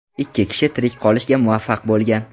Ikki kishi tirik qolishga muvaffaq bo‘lgan.